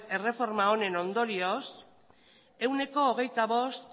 erreforma honen ondorioz ehuneko hogeita bost